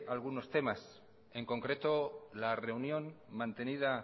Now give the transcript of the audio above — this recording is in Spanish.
algunos temas en concreto la reunión mantenida